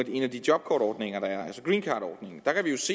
en af de jobkortordninger der er se greencardordningen